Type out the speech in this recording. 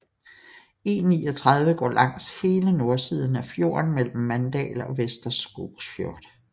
E39 går langs hele nordsiden af fjorden mellem Mandal og Vestre Skogsfjord